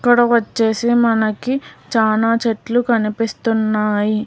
వచ్చేసి మనకి చానా చెట్లు కనిపిస్తున్నాయి.